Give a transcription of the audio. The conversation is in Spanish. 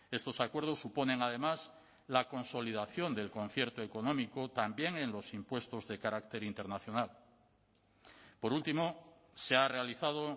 estos acuerdos suponen además la consolidación del concierto económico también en los impuestos de carácter internacional por último se ha realizado